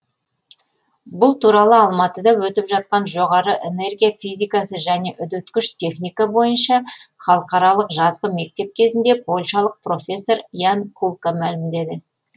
бұл туралы алматыда өтіп жатқан жоғары энергия физикасы және үдеткіш техника бойынша халықаралық жазғы мектеп кезінде польшалық профессор ян кулка мәлімдеді